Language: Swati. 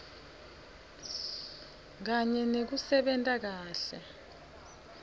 kanye nekusebenta kahle